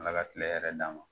Ala ka tila hɛrɛ d'a ma